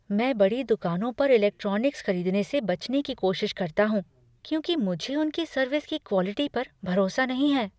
मैं बड़ी दुकानों पर इलेक्ट्रॉनिक्स खरीदने से बचने की कोशिश करता हूँ क्योंकि मुझे उनकी सर्विस की क्वॉलिटी पर भरोसा नहीं है।